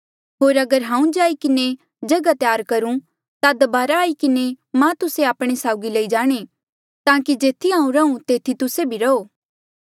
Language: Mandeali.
होर अगर हांऊँ जाई किन्हें जगहा त्यार करूं ता दबारा वापस आई किन्हें मां तुस्से आपणे साउगी लई जाणें ताकि जेथी हांऊँ रहूं तेथी तुस्से भी रहो